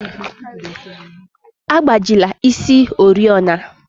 Agbajila isi oriọna!